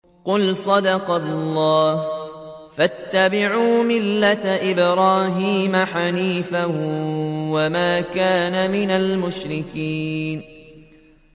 قُلْ صَدَقَ اللَّهُ ۗ فَاتَّبِعُوا مِلَّةَ إِبْرَاهِيمَ حَنِيفًا وَمَا كَانَ مِنَ الْمُشْرِكِينَ